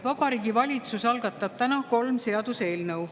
Vabariigi Valitsus algatab täna kolm seaduseelnõu.